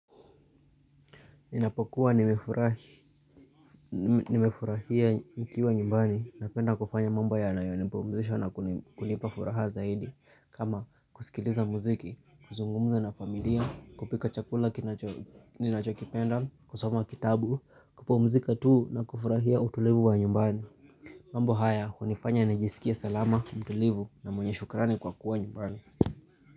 Ninapokuwa nimefurahia nikiwa nyumbani napenda kufanya mamba yanayonipumzisha na kunipa furaha zaidi kama kusikiliza muziki, kuzungumza na familia, kupika chakula kinacho ninachokipenda, kusoma kitabu, kupumzika tuu na kufurahia utulivu wa nyumbani mambo haya, hunifanya najisikie salama, mtulivu na mwenye shukrani kwa kuwa nyumbani.